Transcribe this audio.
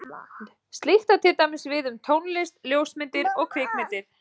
Slíkt á til dæmis við um tónlist, ljósmyndir og kvikmyndir.